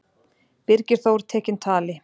Birgir Þór tekinn tali.